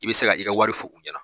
I bɛ se ka i ka wari fɔ u ɲɛna.